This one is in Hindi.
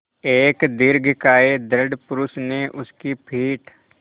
एक दीर्घकाय दृढ़ पुरूष ने उसकी पीठ